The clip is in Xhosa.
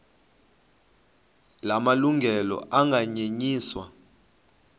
la malungelo anganyenyiswa